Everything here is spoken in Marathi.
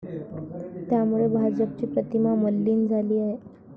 त्यामुळे भाजपची प्रतिमा मलीन झाली आहे.